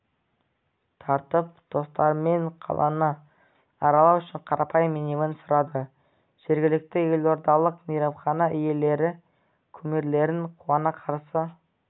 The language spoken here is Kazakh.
тартып достарымен қаланы аралау үшін қарапайым минивэн сұрады жергілікті елордалық мейрамхана иелері кумирлерін қуана қарсы